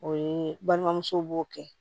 O ye balimamuso b'o kɛ